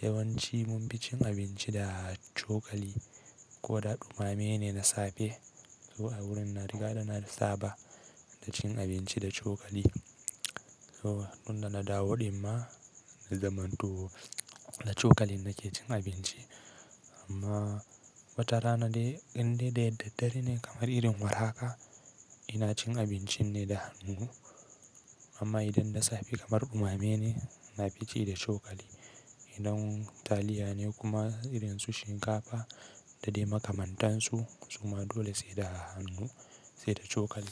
yawanci mun fi cin abinci da cokali ko da dumame ne na safe ko a wurin na riga na saba da cin abinci da cokali. To tun da na dawo ɗin ma na zaman to da cokali nake cin abinci amma watarana dai idan dai da dare ne kamar irin war haka, ina cin abincin ne da hannu. Amma idan na safe kamar dumame ne, na fici da cokali. Idan taliya ne kuma irin su shinkafa da dai makamantansu su ma dole sai da hannu sai da cokali.